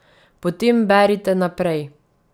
Potem berite naprej.